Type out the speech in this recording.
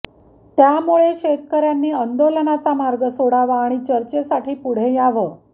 त्यामुळे शेतकऱ्यांनी आंदोलनाचा मार्ग सोडावा आणि चर्चेसाठी पुढं यावं